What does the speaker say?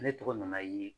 Ne tɔgɔ nana ye